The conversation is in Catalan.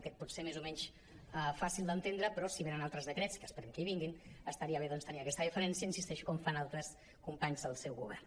aquest pot ser més o menys fàcil d’entendre però si venen altres decrets que esperem que vinguin estaria bé doncs tenir aquesta deferència hi insisteixo com fan altres companys del seu govern